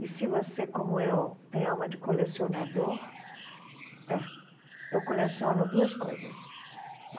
E se você, como eu, tem alma de colecionador, é. Eu coleciono duas coisas.